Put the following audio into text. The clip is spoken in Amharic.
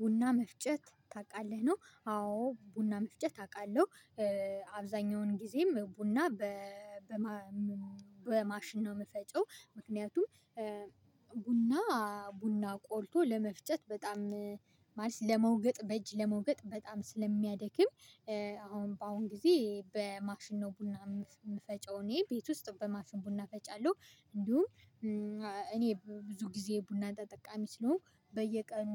ቡና መፍጨት ታውቃለህ ነው? አዎ ቡና መፍጨት አውቃለሁ። አብዛኛውን ጊዜም ቡና በማሽን ነው የምፈጪው። ምክንያቱም ቡና ቡና ቆልቶ ለመፍጨት በጣም ማለት ለመውቀጥ በእጅ ለመውቀጥ በጣም ስለሚያደክም። አሁን በአሁን ጊዜ በማሽን ነው ቡና የምፈጨው እኔ ቤት ውስጥ በማፍን ቡና ፈጫለሁ። እንዲሁም እኔ ብዙ ጊዜ ቡና ተጠቃሚ ስለሆንኩ በየቀኑ